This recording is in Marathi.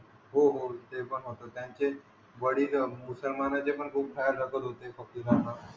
हो हो ते पण होत त्यांचे वडील मुसलमानाचे पण खूप ख्याल रखत होते प्रतेकणा